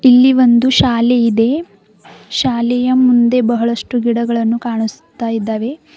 ಇಲ್ಲಿ ಒಂದು ಶಾಲೆ ಇದೆ ಶಾಲೆಯ ಮುಂದೆ ಬಹಳಷ್ಟು ಗಿಡಗಳನ್ನು ಕಾಣಿಸ್ತಾ ಇದ್ದಾವೆ.